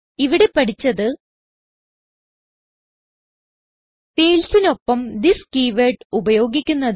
ഇവിടെ പഠിച്ചത് Fieldsനോടൊപ്പം തിസ് കീവേർഡ് ഉപയോഗിക്കുന്നത്